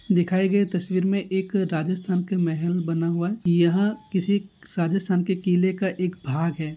दिखाई गई तस्वीर में एक राजस्थान का महल बना हुआ है यहाँ किसी राजस्थान के किले का एक भाग है।